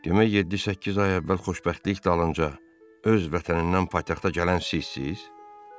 Demək, yeddi-səkkiz ay əvvəl xoşbəxtlik dalınca öz vətənindən paytaxta gələn sizsiz?